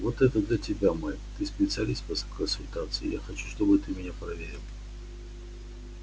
вот это для тебя майк ты специалист по конструкции и я хочу чтобы ты меня проверил